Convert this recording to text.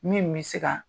Min bɛ se ka